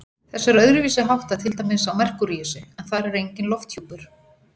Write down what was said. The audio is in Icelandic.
Þessu er öðruvísi háttað til dæmis á Merkúríusi, en þar er enginn lofthjúpur.